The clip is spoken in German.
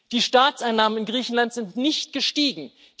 Die Staatseinnahmen in Griechenland sind nicht gestiegen.